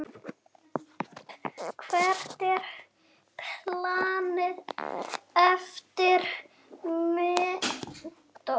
Hvert er planið eftir menntó?